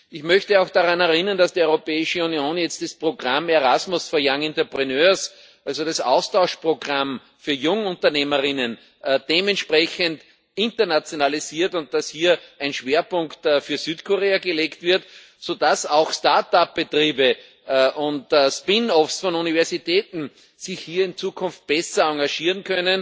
Ich möchte auch daran erinnern, dass die Europäische Union jetzt das Programm Erasmus for Young Entrepreneurs, also das Austauschprogramm für Jungunternehmerinnen, dementsprechend internationalisiert, und dass hier ein Schwerpunkt auf Südkorea gelegt wird, so dass auch Start up Betriebe und spin-offs von Universitäten sich hier in Zukunft besser engagieren,